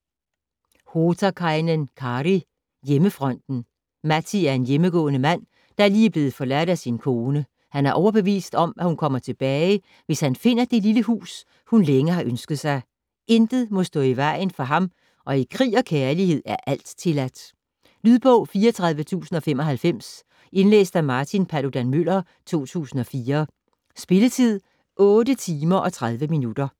Hotakainen, Kari: Hjemmefronten Matti er en hjemmegående mand, der lige er blevet forladt af sin kone. Han er overbevist om, at hun kommer tilbage hvis han finder det lille hus hun længe har ønsket sig. Intet må stå i vejen for ham og i krig og kærlighed er alt tilladt. Lydbog 34095 Indlæst af Martin Paludan-Müller, 2004. Spilletid: 8 timer, 30 minutter.